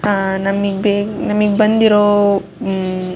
ಅಹ್ ನಮಗೆ ನಮಗೆ ಬಂದಿರೋ ಉಹ್--